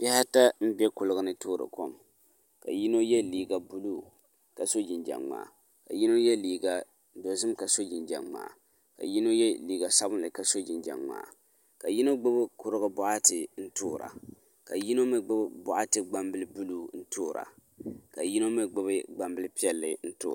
Bihi ata n bɛ kuligi ni toori kom ka yino yɛ liiga buluu ka so jinjɛm ŋmaa ka yino yɛ liiga dozim ka so jinjɛm ŋmaa ka yino yɛ liiga sabinli ka so jinjɛm ŋmaa ka yino gbubi kurigu boɣati n toori ka yino mii gbubi boɣati gbambili buluu n toora ka yino mii gbubi gbambili piɛli n toora